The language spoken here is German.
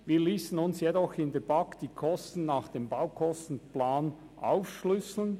Wir liessen uns jedoch in der BaK die Kosten nach dem Baukostenplan aufschlüsseln.